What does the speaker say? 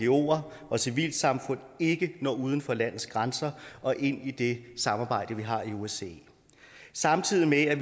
ngoer og civilsamfund ikke når uden for landets grænser og ind i det samarbejde vi har i osce samtidig med at